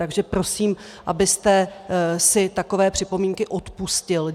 Takže prosím, abyste si takové připomínky odpustil.